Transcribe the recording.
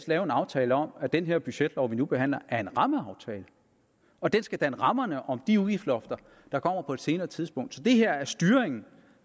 lavet en aftale om at den her budgetlov vi nu behandler er en rammeaftale og den skal danne rammerne om de udgiftslofter der kommer på et senere tidspunkt så det her er styringen